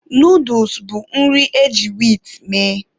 Nooduls bụ nri eji wiit mee.